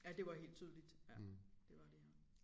Ja det var helt tydeligt ja det var de ja